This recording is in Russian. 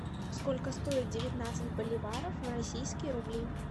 сколько стоит девятнадцать боливаров в российские рубли